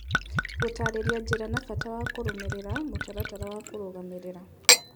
Gũtarĩria njĩra na bata wa kũrũmĩrĩra mũtaratara wa kũrũgamĩrĩra